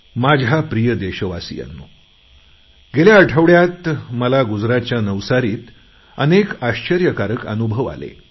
माझ्या प्रिय देशवासियांनो गेल्या आठवड्यात मला गुजरातच्या नवसारीत अनेक आश्चर्यकारक अनुभव आले